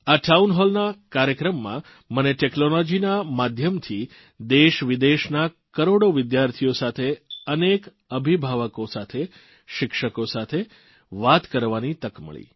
આ ટાઉનહોલ કાર્યક્રમમાં મને ટેકનોલોજીના માધ્યમથી દેશવિદેશના કરોડો વિદ્યાર્થીઓ સાથે અનેક અભિભાવકો સાથે શિક્ષકો સાથે વાત કરવાની તક મળી